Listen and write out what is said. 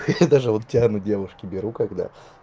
хе-хе я даже вот тиан у девушки беру когда